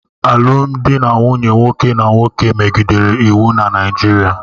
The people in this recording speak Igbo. Alụmdi na nwunye nwoke na nwoke megidere iwu na Naịjirịa